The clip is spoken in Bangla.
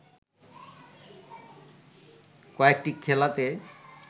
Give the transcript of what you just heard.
কয়েকটি খেলাতে